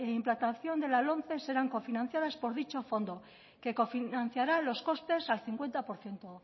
implantación de la lomce serán cofinanciadas por dicho fondo que cofinanciará los costes al cincuenta por ciento